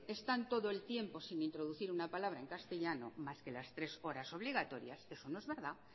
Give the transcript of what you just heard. están todo el tiempo sin introducir una palabra en castellano más que las tres horas obligatorias eso no es verdad